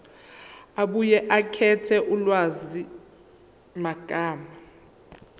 abuye akhethe ulwazimagama